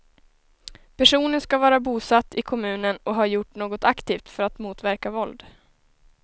Personen ska vara bosatt i kommunen och ha gjort något aktivt för att motverka våld.